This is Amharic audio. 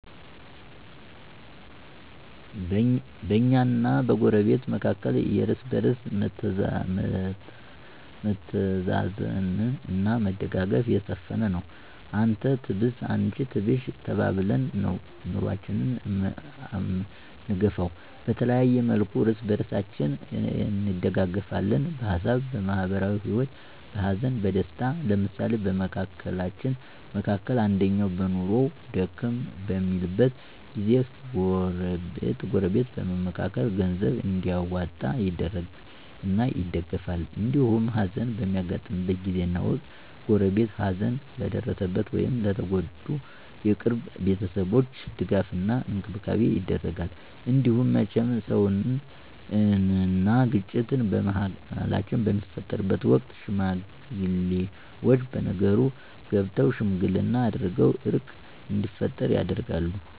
በእኛና በጎረቤት መካከል የእርስ በርስ መተዛዘን አና መደጋገፍ የሰፈነ ነው። አንተ ትብስ አንቺ ትብሽ ተባብለን ነው ኑኖአችን አምንገፈው። በተለያየ መልኩ እርስ በርሳችን እንደጋገፍለን በሀሳብ፣ በማህበራዊ ሂወት፣ በሀዘን በደስታው። ለምሳሌ በመካከላችን መካከል አንደኛው በኑኖው ደከም በሚልበት ጊዜ ጎረበት በመምካከር ገንዘብ እንዲዋጣ ይደረግና ይደገፍል። እንዲሁም ሀዘን በሚያጋጥምበት ጊዜና ወቅት ጎረቤት ሀዘን ለደረሰበት ወይም ለተጎዱ የቅርብ ቤተሰቦች ድጋፍ እና እንክብካቤ ይደረጋል። እንዲሁም መቸም ሰውነን አና ግጭት በመሀላችን በሚፈጠርበት ወቅት ሽማግሌወች በነገሩ ገብተው ሽምግልና አድርገው እርቅ እንዲፈጠር ይደረጋል።